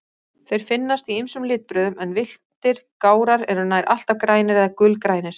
Þeir finnast í ýmsum litbrigðum, en villtir gárar eru nær alltaf grænir eða gulgrænir.